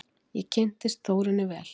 Ég kynntist Þórunni vel.